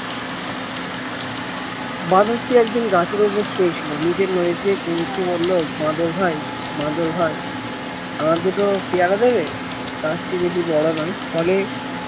বাঁদরটি একদিন গাছের উপর শুয়ে ছিল নীচের নদী থেকে কুমিরটি বললো বাঁদর ভাই বাঁদর ভাই আমায় দুটো পেয়ারা দেবে গাছটি বেশি বড় নয় ফলে